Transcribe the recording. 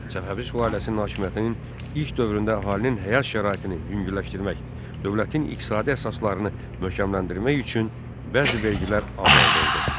Səfəvi sülaləsinin hakimiyyətinin ilk dövründə əhalinin həyat şəraitini yüngülləşdirmək, dövlətin iqtisadi əsaslarını möhkəmləndirmək üçün bəzi vergilər azaldıldı.